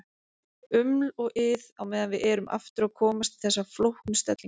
Uml og ið á meðan við erum aftur að komast í þessa flóknu stellingu.